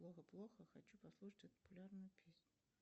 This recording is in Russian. плохо плохо хочу послушать эту популярную песню